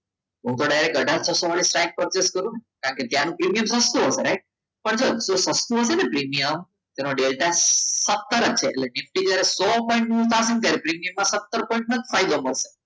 હું તો ડાયરેક્ટ અથાર છસો વાડી સાઈડ પરચેસ કરો. કારણ કે તેનો પ્રીમિયમ સસ્તું હશે right જો સસ્તુ હશે ને પ્રીમિયમ તો તેનો ડેલ્ટા ફક્ત સતર જ છે એટલે સો પોઈન્ટ નું પ્રીમિયમ સતર પોઇંટ